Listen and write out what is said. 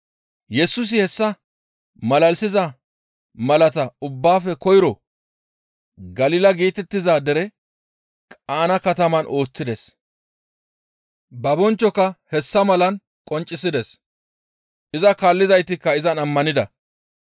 Yesusi hessa malalisiza malata ubbaafe koyro Galila geetettiza deren Qaana kataman ooththides; ba bonchchoka hessa malan qonccisides; iza kaallizaytikka izan ammanida.